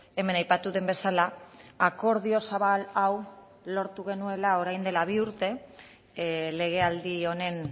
hemen aipatu den bezala akordio zabal hau lortu genuela orain dela bi urte legealdi honen